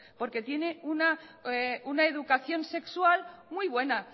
porque tienen una educación sexual muy buena